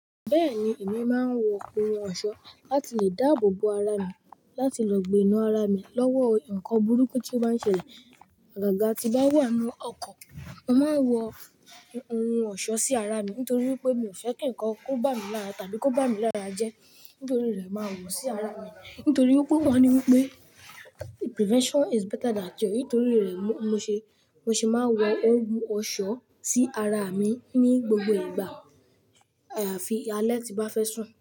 Bẹ́ẹ̀ni, èmi máa ń wọ ohun ọ̀ṣọ́ láti lè dáàbò bo ara mi láti lọ gbiná ara mi lọ́wọ́ nǹkan burúkú tí ó maá ń ṣẹlẹ̀. Àgàgà tí bá wà nínú ọkọ̀, mo máa ń wọ ohun ọ̀ṣọ́ sí ara mi nítorí pé mi ò fẹ́ kí ǹkan kó bá mi lára tàbí kó bá mi lára jẹ́. Nítorí rẹ̀, màá wọ̀ ọ́ sí ara mi. Nítorí wipé wọ́n ní wípé prevention is better than cure. Nítorí rẹ̀, mo ṣe, mo ṣe máa wọ ohun ọ̀ṣọ́ sí ara mi ní gbogbo ìgbà. Àfi alẹ́ tí bá fẹ́ sùn.